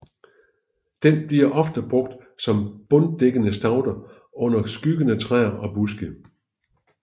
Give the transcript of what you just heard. Den bliver ofte brugt som bunddækkende staude under skyggende træer og buske